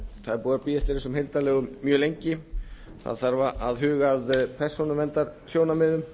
það er búið að bíða eftir þessum heildarlögum mjög lengi það þarf að huga að persónuverndarsjónarmiðum